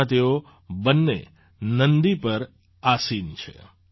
તેમાં તેઓ બંને નંદી પર આસીન છે